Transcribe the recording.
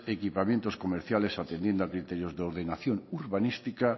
equipamientos comerciales atendiendo a criterios de ordenación urbanística